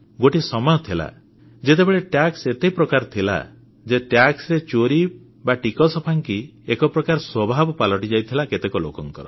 ଗୋଟେ ସମୟ ଥିଲା ଯେତେବେଳେ ଟିକସ ଏତେ ପ୍ରକାର ଥିଲା ଯେ ଟିକସରେ ଚୋରୀ ବା ଫାଙ୍କି ଏକ ପ୍ରକାର ସ୍ୱଭାବ ପାଲଟିଯାଇଥିଲା କେତେକ ଲୋକଙ୍କର